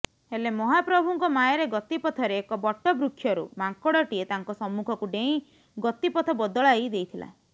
ହେଲେ ମହାପ୍ରଭୁଙ୍କ ମାୟାରେ ଗତିପଥରେ ଏକ ବଟବୃକ୍ଷରୁ ମାଙ୍କଡଟିଏ ତାଙ୍କ ସମ୍ମୁଖକୁ ଡେଇଁ ଗତିପଥ ବଦଳାଇ ଦେଇଥିଲା